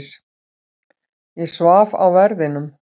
Ég svaf á verðinum.